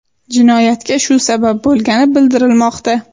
Jinoyatga shu sabab bo‘lgani bildirilmoqda.